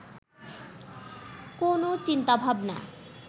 কোনও চিন্তাভাবনা